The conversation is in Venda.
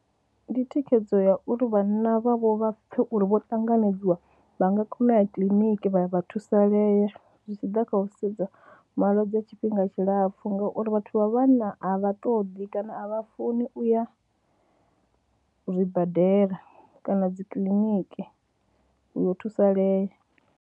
Ndi thikhedzo ya uri vhanna vhavho vha pfhe uri vho ṱanganedziwa vha nga kona u ya kiḽiniki, vha ya vha thusalea zwi tshi ḓa kha u sedza malwadze a tshifhinga tshilapfhu ngauri vhathu vha vhanna a vha ṱoḓi kana a vha funi u ya zwibadela kana dzikiḽiniki u yo thusalea.